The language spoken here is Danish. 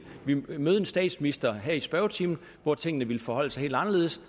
vi nu ville møde en statsminister her i spørgetimen hvor tingene ville forholde sig helt anderledes